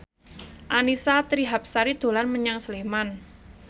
Annisa Trihapsari dolan menyang Sleman